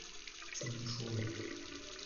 чернышевой